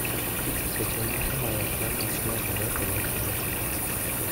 seche moko myoclonus medore kendo kelo chandruok.